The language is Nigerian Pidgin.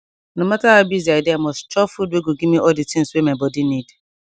no matter how busy i dey i mus chop food wey go give me all de tins wey my body need